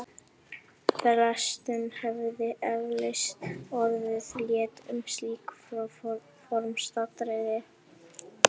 Flestum hefði eflaust orðið létt um slík formsatriði.